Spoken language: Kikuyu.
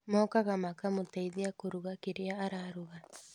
Mokaga makamũteithia kũruga kĩrĩa araruga